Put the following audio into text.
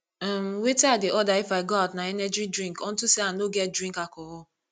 um wetin i dey order if i go out na energy drink unto say i no get drink alcohol